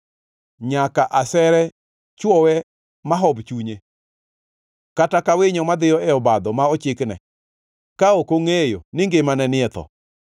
nyaka asere chwowe mahob chunye, kata ka winyo madhiyo e obadho ma ochikne, ka ok ongʼeyo ni ngimane ni e tho!